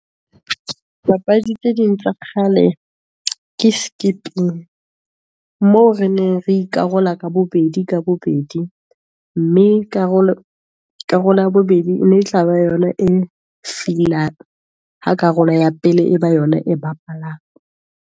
Papadi tse ding tsa kgale, ke skipping moo re neng re ikarola ka bobedi ka bobedi, mme karolo ya bobedi e ne e tla ba yona e feel-ang, ha karolo ya pele e ba yona e bapalang.